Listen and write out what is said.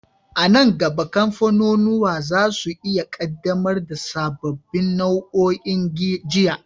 A nan gaba, kamfanunuwa za su iya ƙaddamar da sababbin nau'o'in giya.